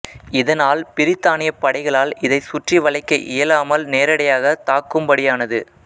இதனால் பிரித்தானியப் படைகளால் இதனைச் சுற்றி வளைக்க இயலாமல் நேரடியாகத் தாக்குமபடியானது